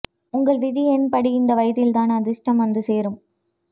உங்கள் விதி எண் படி இந்த வயதில்தான் அதிர்ஷ்டம் வந்து சேரும்